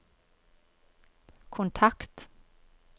kontakt